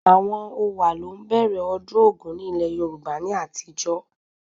Àwọn Owa ló ń bẹ̀rẹ̀ ọdún ogún ni ilẹ̀ Yorùbá ní àtijó